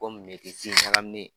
Komi metisi ɲagaminen.